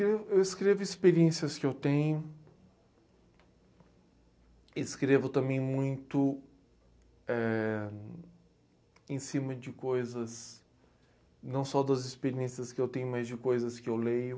Eu. Eu escrevo experiências que eu tenho, escrevo também muito, éh... em cima de coisas, não só das experiências que eu tenho, mas de coisas que eu leio.